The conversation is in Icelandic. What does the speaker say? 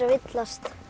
villast